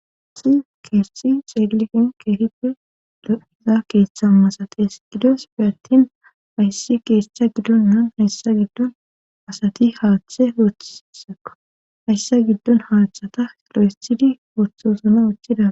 Asi kethi xeellin keehippe lo'iza keeththa masates gidofe atin ayssi keesetha gidonnan hayssa giddon asati haaththe woothseka hayssa giddon haaththata olo7estidi woththosuna uchchida